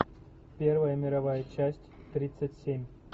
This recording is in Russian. первая мировая часть тридцать семь